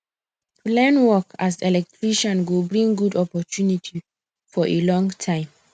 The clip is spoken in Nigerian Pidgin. to learn work as electrician go bring good opportunity for a long time